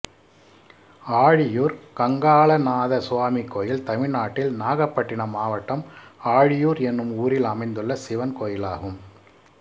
ஆழியூர் கங்காளநாத சுவாமி கோயில் தமிழ்நாட்டில் நாகப்பட்டினம் மாவட்டம் ஆழியூர் என்னும் ஊரில் அமைந்துள்ள சிவன் கோயிலாகும்